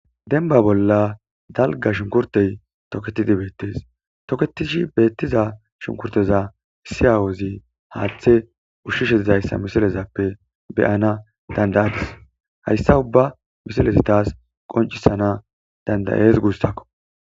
Dembba bolla dalgga shunkkurththey tokeththidi beeththes; tokeththishi beeththiza shunkkurththeza issi aawozi haaththe ushshishe dizayssa misilezappe be7ana dandayadis; hayssa ubba misilezi thaas qonccissana dandayees guussakko.